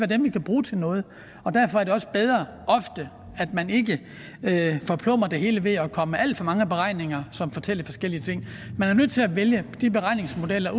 dem vi kan bruge til noget derfor er det også bedre ofte at man ikke forplumrer det hele ved at komme med alt for mange beregninger som fortæller forskellige ting man er nødt til at vælge de beregningsmodeller